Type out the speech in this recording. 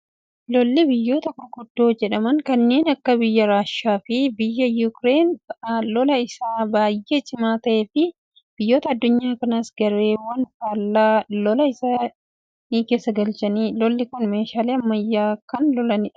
Lolli biyyoota gurguddoo jedhaman kanneen akka biyya Raashiyaa fi biyya Yuukireen fa'aa lola isa baayyee cimaa ta'ee fi biyyoota addunyaa kanaas gareewwan faallaa lolaa keessa isaan galchedha. Lolli Kun meeshaalee ammayyaan kan lolamudha.